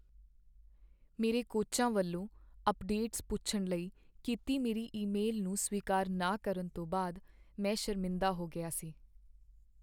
ਮੇਰੇ ਕੋਚਾਂ ਵੱਲੋਂ ਅੱਪਡੇਟਸ ਪੁੱਛਣ ਲਈ ਕੀਤੀ ਮੇਰੀ ਈਮੇਲ ਨੂੰ ਸਵੀਕਾਰ ਨਾ ਕਰਨ ਤੋਂ ਬਾਅਦ ਮੈਂ ਸ਼ਰਮਿੰਦ ਹੋ ਗਿਆ ਸੀ।